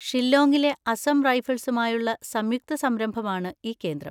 ഷില്ലോങ്ങിലെ അസം റൈഫിൾസുമായുള്ള സംയുക്ത സംരംഭമാണ് ഈ കേന്ദ്രം.